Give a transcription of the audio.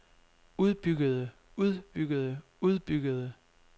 udbyggede udbyggede udbyggede